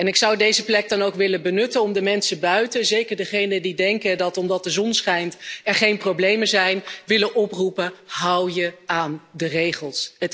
Ik zou deze plek dan ook willen benutten om de mensen buiten zeker diegenen die denken dat omdat de zon schijnt er geen problemen zijn willen oproepen hou je aan de regels.